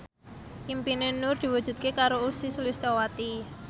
impine Nur diwujudke karo Ussy Sulistyawati